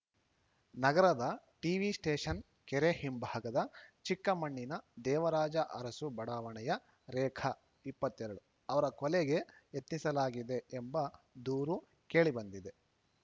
ನಗರದ TV station ಕೆರೆ ಹಿಂಭಾಗದ ಚಿಕ್ಕಮಣ್ಣಿನ ದೇವರಾಜ ಅರಸು ಬಡಾವಣೆಯ ರೇಖಾ ಇಪ್ಪತ್ತೆ ರಡು ಅವರ ಕೊಲೆಗೆ ಯತ್ನಿಸಲಾಗಿದೆ ಎಂಬ ದೂರು ಕೇಳಿ ಬಂದಿದೆ